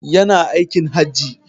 Ya na aikin Hajji.